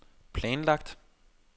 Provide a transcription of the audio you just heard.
planlagt